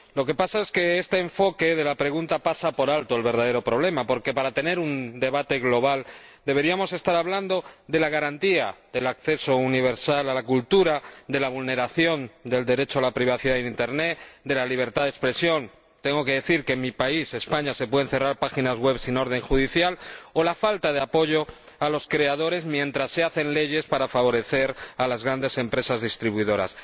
Lo que pasa es que el enfoque de la pregunta pasa por alto el verdadero problema, porque, para tener un debate global, deberíamos estar hablando de la garantía del acceso universal a la cultura, de la vulneración del derecho a la privacidad en internet, de la libertad de expresión —tengo que decir que en mi país, España, se pueden cerrar páginas web sin orden judicial— o de la falta de apoyo a los creadores, mientras se hacen leyes para favorecer a las grandes empresas distribuidoras.